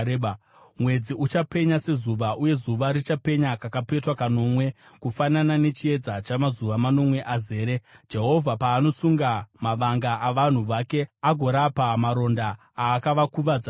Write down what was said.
Mwedzi uchapenya sezuva, uye zuva richapenya kakapetwa kanomwe, kufanana nechiedza chamazuva manomwe azere, Jehovha paanosunga mavanga avanhu vake agorapa maronda aakavakuvadza nawo.